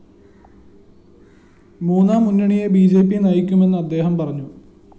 മൂന്നാം മുന്നണിയെ B J P നയിക്കുമെന്നും അദ്ദേഹം പറഞ്ഞു